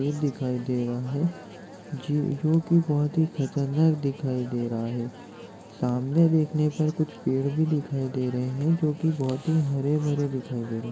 शेर दिखाई दे रहा है ज्यो जो की बहुत ही खतरनाक दिखाई दे रहा है सामने देखने पर कुछ पेड़ भी दिखाई दे रहे है जो की बहुत ही हरे भरे दिखाई दे रहे है।